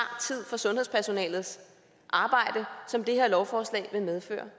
tid fra sundhedspersonalets arbejde som det her forslag vil medføre